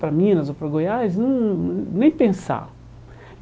para Minas ou para Goiás, não nem pensar.